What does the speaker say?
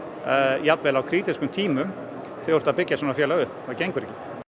jafnvel á krítískum tímum þegar þú ert að byggja svona félag upp það gengur ekki